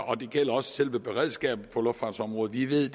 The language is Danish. og det gælder også selve beredskabet på luftfartsområdet vi ved